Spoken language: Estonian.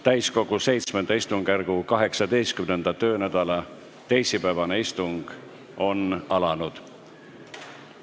Täiskogu VII istungjärgu 18. töönädala teisipäevane istung on alanud.